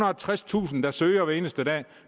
og tredstusind der søger hver eneste dag og